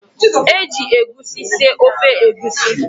Eji egusi sie ofe egusi.